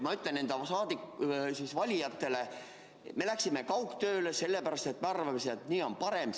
Ma ütlen enda valijatele, et me läksime kaugtööle sellepärast, et me arvasime, et nii on parem.